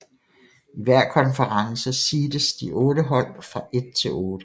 I hver konference seedes de otte hold fra 1 til 8